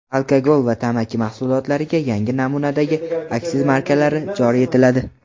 Alkogol va tamaki mahsulotlariga yangi namunadagi aksiz markalari joriy etiladi.